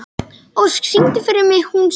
Ósk, syngdu fyrir mig „Hún sefur“.